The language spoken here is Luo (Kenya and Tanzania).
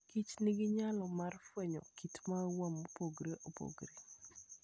Kich nigi nyalo mar fwenyo kit maua mopogore opogore.